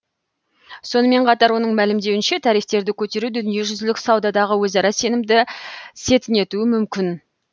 сонымен қатар оның мәлімдеуінше тарифтерді көтеру дүниежүзілік саудадағы өзара сенімді сетінетуі мүмкін